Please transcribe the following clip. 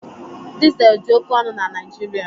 Dizel dị oké ọnụ na Naijiria.